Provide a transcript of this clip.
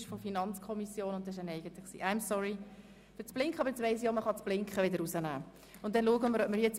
Es tut mir leid, dass ich das Blinken eingeschaltet habe, aber nun weiss ich, dass man es auch wieder ausschalten kann.